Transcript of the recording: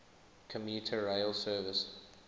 commuter rail service